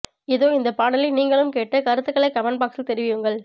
இதோ இந்த பாடலை நீங்களும் கேட்டு கருத்துக்களை கமெண்ட் பாக்ஸில் தெரிவியுங்கள்